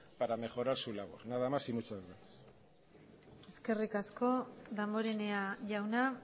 para mejorar su labor nada más y muchas gracias eskerrik asko damborenea jauna